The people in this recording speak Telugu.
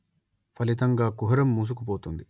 ఫలితంగా కుహరం మూసుకుపోతుంది